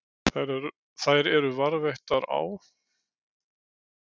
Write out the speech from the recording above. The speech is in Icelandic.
Þær eru varðveittar á